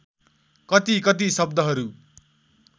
कति कति शब्दहरू